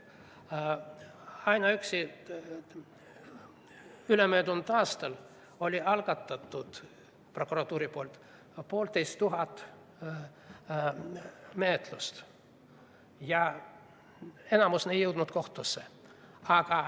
Ainuüksi ülemöödunud aastal algatas prokuratuur poolteist tuhat menetlust ja enamik neist ei jõudnud kohtusse.